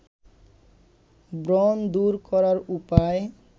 ব্রণ দূর করার উপায়